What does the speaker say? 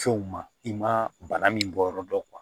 Fɛnw ma i ma bana min bɔ yɔrɔ dɔn